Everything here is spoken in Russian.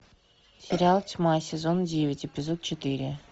сериал тьма сезон девять эпизод четыре